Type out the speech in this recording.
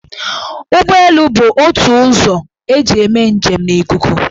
Ụgbọelu bụ ótù ụzọ eji eme njem n' ikuku.